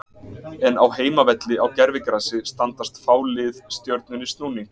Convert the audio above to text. En á heimavelli á gervigrasi standast fá lið Stjörnunni snúning.